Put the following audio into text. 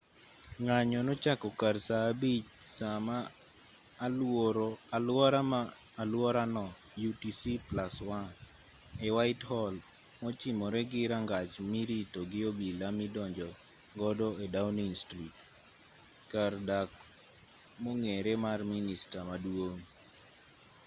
ng'anyo nochako kar saa 11.00 saa ma aluora no utc+1 e whitehall mochimore gi rangach mirito gi obila midonjo godo e downing street kar dak mong'ere mar minista maduong'